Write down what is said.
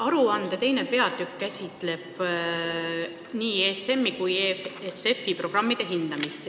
Aruande teine peatükk käsitleb nii ESM-i kui EFSF-i programmide hindamist.